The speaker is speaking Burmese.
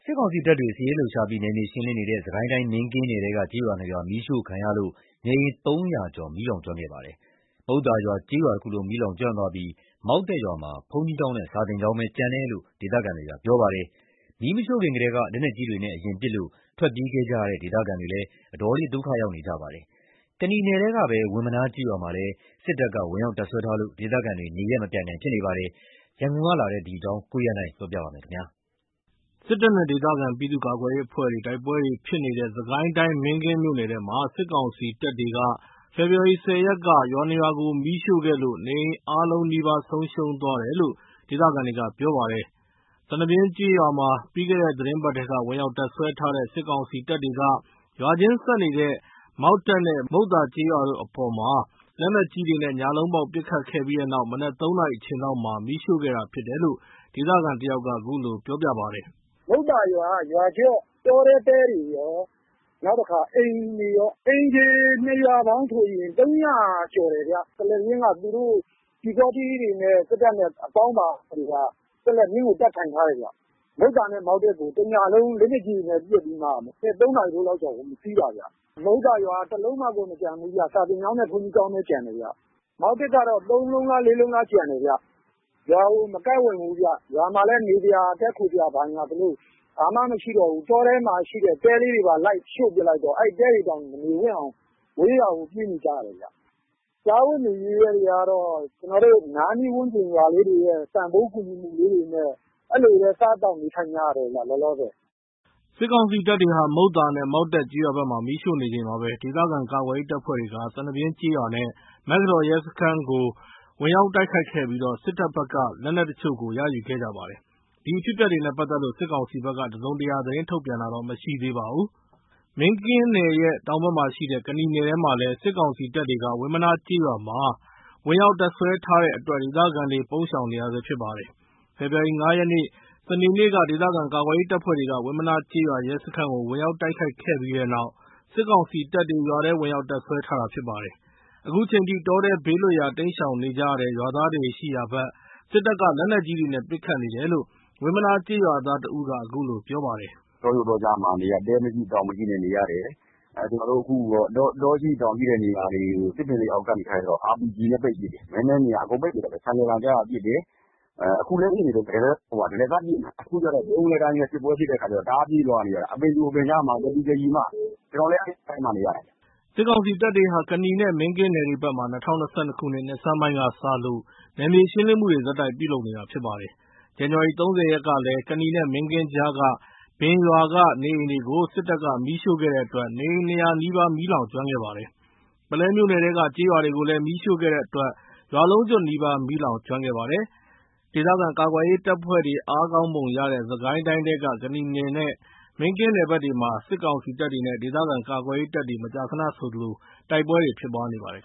စ်ကောင်စီတပ်တွေ စစ်ရေးလှုပ်ရှားပြီး နယ်မြေရှင်းလင်းနေတဲ့ စစ်ကိုင်းတိုင်း မင်းကင်းနယ်ထဲက ကျေးရွာ ၂ ရွာ မီးရှို့ခံရလို့ နေအိမ် ၃၀၀ ကျော် မီးလောင်ကျွမ်းခဲ့ပါတယ်။ မုဿာရွာကျေးရွာတခုလုံး မီးလောင်ကျွမ်းသွားပြီး မောက်တက်ရွာမှာ ဘုန်းကြီးကျောင်းနဲ့ စာသင်ကျောင်းသာ ကျန်တယ်လို့ ဒေသခံတွေက ပြောပါတယ်။ မီးမရှို့ခင်ကတည်းက လက်နက်ကြီးတွေနဲ့ အရင်ပစ်ခတ်လို့ ထွက်ပြေးခဲ့ကြရတဲ့ ဒေသခံတွေလည်း အတော်လေး ဒုက္ခရောက်နေကြပါတယ်။ ကနီနယ်ထဲကပဲ ဝင်းမနားကျေးရွာမှာလည်း စစ်ကောင်စီတပ်တွေ ဝင်ရောက်တပ်စွဲထားလို့ ဒေသခံတွေ နေရပ်မပြန်နိုင် ဖြစ်နေပါတယ်။ ရန်ကုန်ကလာတဲ့ သတင်းကို ကိုရန်နိုင်က တင်ပြပေးထားပါတယ်။ စစ်တပ်နဲ့ဒေသခံ ပြည်သူ့ကာကွယ်ရေးအဖွဲ့တွေ တိုက်ပွဲတွေ ဖြစ်နေတဲ့ စစ်ကိုင်းတိုင်း မင်းကင်းမြို့နယ်ထဲမှာ စစ်ကောင်စီတပ်တွေက ဖေဖော်ဝါရီ ၁၀ ရက်က ရွာ ၂ ရွာကို မီးရှို့ခဲ့လို့ နေအိမ်အားလုံးနီးပါး ဆုံးရှုံးသွားတယ်လို့ ဒေသခံတွေက ပြောပါတယ်။ စနဗျင်းကျေးရွာမှာ ပြီးခဲ့တဲ့ သီတင်းပတ်ထဲက ဝင်ရောက်တပ်စွဲထားတဲ့ စစ်ကောင်စီတပ်တွေက ရွာချင်းဆက်နေတဲ့ မောက်တက်နဲ့ မုဿာကျေးရွာတို့အပေါ် လက်နက်ကြီးတွေနဲ့ ညလုံးပေါက် ပစ်ခတ်ခဲ့ပြီးနောက် မနက် ၃ နာရီအချိန်လောက်မှာ မီးရှို့ခဲ့တာဖြစ်တယ်လို့ ဒေသခံတယောက်က ခုလိုပြောပြပါတယ်။ “မုဿာရွာက တောထဲကတဲတွေကော အိမ်တွေကော အိမ်ခြေက ၂ ရွာပေါင်းဆိုရင် ၃၀၀ ကျော်တယ်ခင်ဗျ။ စနဗျင်းမှာ ပျူစောထီးတွေနဲ့ သူတို့အပေါင်းအပါတွေက တပ်ထိုင်ထားတယ်။ မုဿာနဲ့ မောက်တက်ကို တညလုံး လက်နက်ကြီးတွေနဲ့ပစ်ပြီး မနက် ၃ နာရီလောက်မှာ ဝင်စီးတာ။ မုဿာရွာကတလုံးမှကို မကျန်ဘူးဗျ။ စာသင်ကျောင်းနဲ့ ဘုန်းကြီးကျောင်းပဲကျန်တယ်။ မောက်တက်က ၃ လုံးလား ၄ လုံးလားပဲ ကျန်တယ်။ ရွာကို မကပ်ဝံ့ဘူးဗျ။ ရွာမှာ တည်းခိုစရာ နေစရာဆိုလို့ ဘာမှမရှိတော့ဘူး။ တောထဲကတဲတွေပါ ရှို့လိုက်တော့ ရွာမှာ မနေဝံ့တော့ဘဲ ဝေးရာကို ပြေးနေကြရတယ်။ စားဝတ်နေရေးက အနားနီးဝန်းကျင်က ပတ်ဝန်းကျင်ရွာလေးတွေက ကူညီပေးတာတွေနဲ့ လောလောဆယ် စားသောက်နေထိုင်နေရတယ်။” စစ်ကောင်စီတပ်တွေက မုဿာနဲ့ မောက်တက်ကျေးရွာဘက်မှာ မီးရှို့နေချိန်မှာပဲ ဒေသခံကာကွယ်ရေး တပ်ဖွဲ့တွေက စနဗျင်းကျေးရွာနဲ့ မေက္ကတော်ရဲစခန်းကို ဝင်ရောက်တိုက်ခိုက်ခဲ့ပြီး စစ်တပ်ဘက်က လက်နက် တချို့ကို ရယူခဲ့ကြပါတယ်။ ဒီအဖြစ်အပျက်တွေနဲ့ပတ်သက်လို့ စစ်ကောင်စီဘက်က တစုံတရာ သတင်းထုတ်ပြန်တာမရှိသေးပါဘူး။ မင်းကင်းနယ်ရဲ့ တောင်ဘက်မှာရှိတဲ့ ကနီနယ်ထဲမှာလည်း စစ်ကောင်စီတပ်တွေ ဝင်းမနားကျေးရွာမှာ ဝင်ရောက်တပ်စွဲထားတဲ့အတွက် ဒေသခံတွေ ပုန်းရှောင်နေရဆဲဖြစ်ပါတယ်။ ဖေဖော်ဝါရီလ ၅ ရက် စနေနေ့က ဒေသခံကာကွယ်ရေး တပ်ဖွဲ့တွေက ဝင်မနားကျေးရွာ ရဲစခန်းကို ဝင်ရောက်တိုက်ခိုက်ခဲ့ပြီးနောက် စစ်ကောင် စီတပ်တွေ ရွာထဲ ဝင်ရောက်တပ်စွဲထားတာဖြစ်ပါတယ်။ အခုချိန်ထိ တောထဲဘေးလွတ်ရာ တိမ်းရှောင်နေကြရတဲ့ ရွာသားတွေ ရှိရာဘက် စစ်တပ်က လက်နက်ကြီးတွေနဲ့ ပစ်ခတ်နေတယ်လို့ ဝင်မနား ကျေးရွာသား တဦးက အခုလို ပြောပြပါတယ်။ “တောကြိုတောကြားမှာ တဲမရှိတောင်မရှိနဲ့ နေရတယ်။ တောရှိတောင်ရှိတဲ့ နေရာမှာတော့ RPG တွေနဲ့ပစ်တယ်။ မဲမဲမြင်ရာ အကုန်ပစ်တယ်။ ဆိုင်ကယ်သံကြားရင်ပစ်တယ်။ အခုလည်း ပစ်နေတုန်းပဲ။ တရစပ် ပစ်နေတာ။ အခုက ဗြုန်းကနဲစစ်ပွဲဖြစ်တော့ တောကြိုတောကြားပြေးနေရတယ်။ ကျနော်လည်း အခု တောထဲမှာနေ နေရတယ်။” စစ်ကောင်စီတပ်တွေဟာ ကနီနဲ့မင်းကင်းနယ်တွေဘက်မှာ ၂၀၂၂ နှစ်ဆန်းပိုင်းကစလို့ နယ်မြေရှင်းလင်းမှုတွေ ဆက်တိုက်ပြုလုပ်နေတာဖြစ်ပါတယ်။ ဇန်နဝါရီ ၃၀ ရက်ကလည်း ကနီနဲ့မင်းကင်းကြားက ဘင်ရွာက နေအိမ်တွေကို စစ်တပ်က မီးရှို့ခဲ့တဲ့အတွက် နေအိမ် ၂၀၀ နီးပါး မီးလောင်ကျွမ်းခဲ့ပါတယ်။ ပုလဲမြို့နယ်ထဲက ကျေးရွာတွေကိုလည်း မီးရှို့ခဲ့တဲအတွက် ရွာလုံးကျွတ်နီးပါး မီးလောင်ကျွမ်းခဲ့ပါတယ်။ ဒေသခံကာကွယ်ရေးတပ်ဖွဲ့တွေ အားကောင်းပုံရတဲ့ စစ်ကိုင်းတိုင်းထဲက ကနီနဲ့ မင်းကင်းနယ်ဘက်တွေမှာ စစ်ကောင်စီတပ်တွေနဲ့ ဒေသခံကာကွယ်ရေးတပ်တွေ မကြာခဏဆိုသလို တိုက်ပွဲတွေ ဖြစ်ပွားနေပါတယ်